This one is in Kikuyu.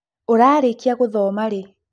ũrarĩkia gũthoma rĩĩ?